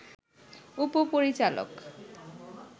উপ-পরিচালক